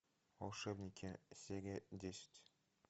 волшебники серия десять